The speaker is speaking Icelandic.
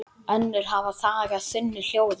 Önnur hafa þagað þunnu hljóði.